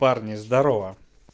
парни здарово